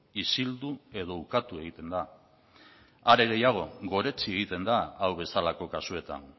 isildu edo ukatu egiten da are gehiago goretsi egiten da hau bezalako kasuetan